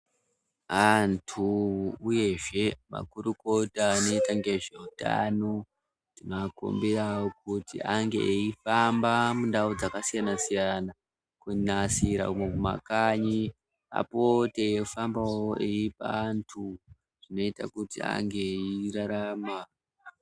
Antu uyezve makurukota anoita ngezveutano, tinoakumbirawo kuti ange eifamba mundau dzakasiyana-siyana, kunasira umomumakanyi apote eifambawo eipa antu zvinoita kuti ange eirarama.